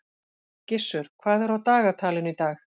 Gissur, hvað er á dagatalinu í dag?